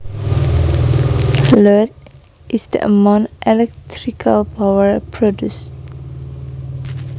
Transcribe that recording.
Load is the amount electrical power produced